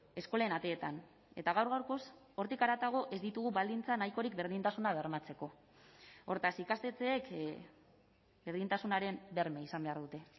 eskolen ateetan eta gaur gaurkoz hortik haratago ez ditugu baldintza nahikorik berdintasuna bermatzeko hortaz ikastetxeek berdintasunaren berme izan behar dute